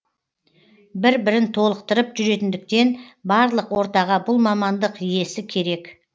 бір бірін толықтырып жүретіндіктен барлық ортаға бұл мамандық иесі керек